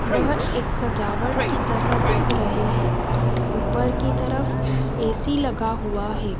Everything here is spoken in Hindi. वह एक सजावट की तरह दिख रहे हैं ऊपर की तरफ ए_सी लगा हुआ है।